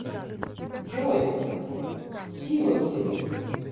джой силосис